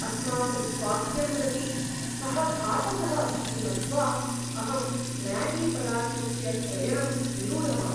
आस्माकं स्वास्थ्यं प्रति स घातकः इति मत्वा अहं म्यागी पदार्थस्य क्रयणं निरूढवान्।